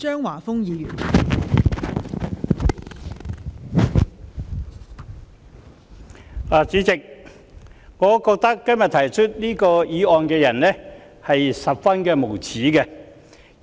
代理主席，我覺得今天提出這項議案的議員很無耻。